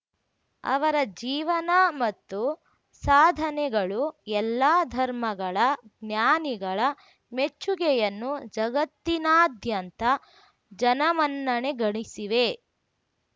ಅವರ ಜೀವನ ಮತ್ತು ಸಾಧನೆಗಳು ಎಲ್ಲ ಧರ್ಮಗಳ ಜ್ಞಾನಿಗಳ ಮೆಚ್ಚುಗೆಯನ್ನು ಜಗತ್ತಿನಾದ್ಯಂತ ಜನಮನ್ನಣೆ ಗಳಿಸಿವೆ